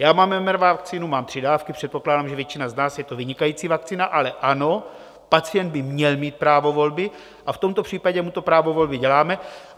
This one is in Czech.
Já mám mRNA vakcínu, mám tři dávky, předpokládám, že většina z nás, je to vynikající vakcína, ale ano, pacient by měl mít právo volby a v tomto případě mu to právo volby děláme.